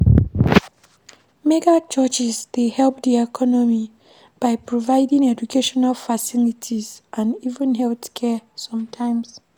Mega churches dey help di economy by providing educational facilities and even healthcare sometimes